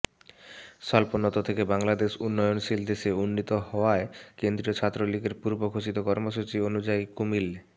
স্বল্পোন্নত থেকে বাংলাদেশ উন্নয়নশীল দেশে উন্নীত হওয়ায় কেন্দ্রীয় ছাত্রলীগের পূর্ব ঘোষিত কর্মসূচি অনুযায়ী কুমিল্